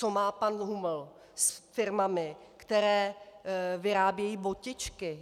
Co má pan Huml s firmami, které vyrábějí botičky?